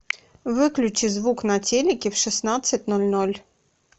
выключи звук на телике в шестнадцать ноль ноль